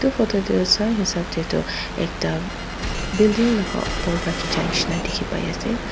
etu photo dae tho sa esab dae tho ekta building laka opor vra kicha nishina tiki bai ase.